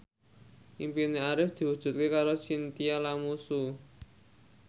impine Arif diwujudke karo Chintya Lamusu